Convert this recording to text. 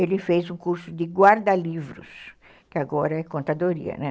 Ele fez um curso de guarda-livros, que agora é contadoria, né?